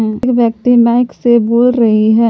व्यक्ति माइक से बोल रही है।